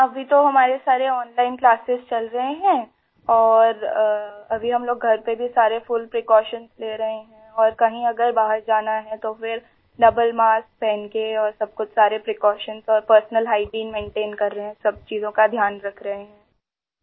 ہاں ، ابھی تو ہماری تمام آن لائن کلاسز چل رہی ہیں اور ابھی ہم لوگ گھر میں بھی پوری احتیاطی تدابیر کر رہے ہیں اور اگر کہیں اگر باہر جانا ہے تو پھر ڈبل ماسک پہن کر ، اور سب کچھ ، ساری احتیاط اور ذاتی صفائی ستھرائی کر رہے ہیں ، سب چیزوں کا دھیان رکھ رہے ہیں